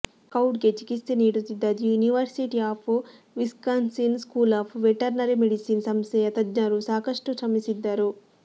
ಸ್ಕೌಟ್ಗೆ ಚಿಕಿತ್ಸೆ ನೀಡುತ್ತಿದ್ದ the university of Wisconsin school of veterinary medicine ಸಂಸ್ಥೆಯ ತಜ್ಞರೂ ಸಾಕಷ್ಟು ಶ್ರಮಿಸಿದ್ದರು